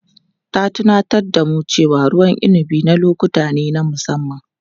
Ta tunatar da mu cewa ruwan inabi na lokuta ne na musamman.